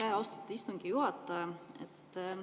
Aitäh, austatud istungi juhataja!